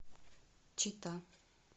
чита